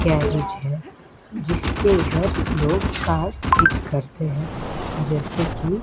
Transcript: garage है जिसके इधर लोग कार ठीक करते हैं जैसे की--